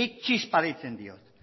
nik txispa deitzen diot